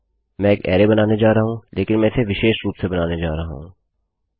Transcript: मैं एक अरैबनाने जा रहा हूँलेकिन मैं इसे विशेष रूप से बनाने जा रहा हूँ